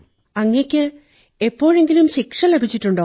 അങ്ങയ്ക്ക് എപ്പോഴെങ്കിലും ശിക്ഷ ലഭിച്ചിട്ടുണ്ടോ